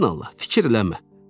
Sən Allah, fikir eləmə.